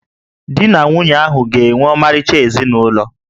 Di na nwunye ahụ ga-enwe ọmarịcha ezinụlọ